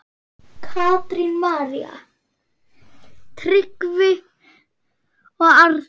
Katrín, María, Tryggvi og Arnar.